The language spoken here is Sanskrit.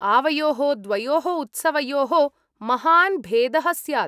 आवयोः द्वयोः उत्सवयोः महान् भेदः स्यात्।